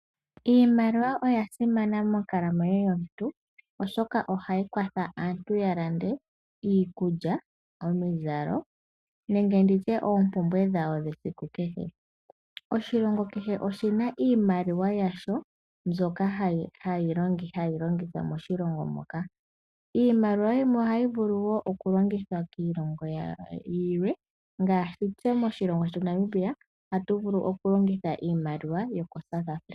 Iimaliwa yasimana monkalamwenyo yomuntu oshoka ohayi kwatha aantu yalande iikulya, omizalo nenge nditye oompumbwe dhawo dhesiku kehe oshilongo kehe oshina iimaliwa yasho mbyoka hayi longithwa oshilongo moka iimaliwa yimwe ohayi vulu wo okulongithwa kilongo yilwe ngaashi tse moshilongo shetu Namibia hatu vulu okulongitha iimaliwa yoko South Africa.